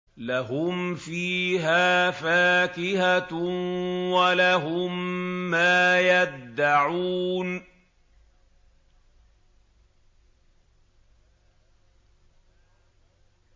لَهُمْ فِيهَا فَاكِهَةٌ وَلَهُم مَّا يَدَّعُونَ